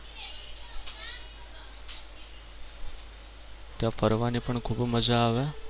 ત્યાં ફરવાની પણ ખૂબ મજા આવે.